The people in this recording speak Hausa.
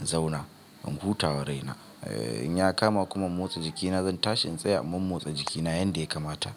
in zauna in huta wa raina. Eh, in ya kama kuma in motsa jikina zan tashi in tsaya momotsa jikina yanda ya kamata.